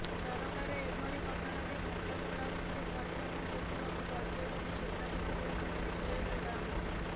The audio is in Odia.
ସରକାର ଏଭଳି ଘଟଣାରେ ଘଂଟ ଘୋଡାଉଥିଲେ ପରିଣାମ ଭୋଗିବାକୁ ପଡିବ ବୋଲି ଚେତାବନି ଦେଇଛନ୍ତି ଜୁଏଲ ଓରାମ